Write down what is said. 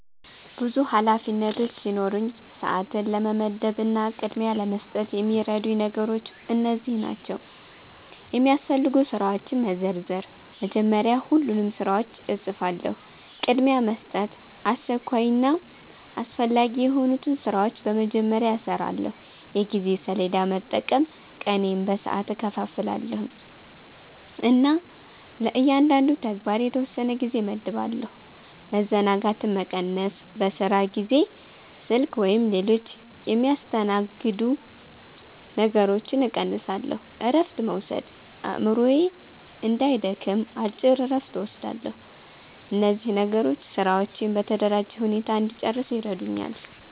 ብዙ ኃላፊነቶች ሲኖሩኝ፣ ሰዓትን ለመመደብ እና ቅድሚያ ለመስጠት የሚረዱኝ ነገሮች እነዚህ ናቸው፦ የሚያስፈልጉ ስራዎችን መዘርዘር – መጀመሪያ ሁሉንም ስራዎች እጽፋለሁ። ቅድሚያ መስጠት – አስቸኳይና አስፈላጊ የሆኑትን ስራዎች በመጀመሪያ እሰራለሁ። የጊዜ ሰሌዳ መጠቀም – ቀኔን በሰዓት እከፋፍላለሁ እና ለእያንዳንዱ ተግባር የተወሰነ ጊዜ እመድባለሁ። መዘናጋትን መቀነስ – በስራ ጊዜ ስልክ ወይም ሌሎች የሚያስተናግዱ ነገሮችን እቀንሳለሁ። እረፍት መውሰድ – አእምሮዬ እንዳይደክም አጭር እረፍት እወስዳለሁ። እነዚህ ነገሮች ስራዎቼን በተደራጀ ሁኔታ እንድጨርስ ይረዱኛል።